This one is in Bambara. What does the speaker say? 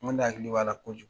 N ko ne hakili b'a la kojugu